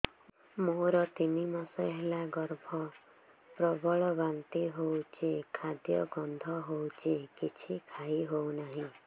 ମୋର ତିନି ମାସ ହେଲା ଗର୍ଭ ପ୍ରବଳ ବାନ୍ତି ହଉଚି ଖାଦ୍ୟ ଗନ୍ଧ ହଉଚି କିଛି ଖାଇ ହଉନାହିଁ